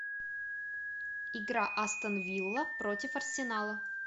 игра астон вилла против арсенала